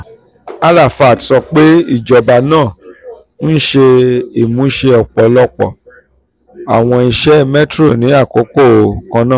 arafat sọ pe ijoba naa n ṣe imuse ọpọlọpọ awọn iṣẹ metro ni akoko kanna.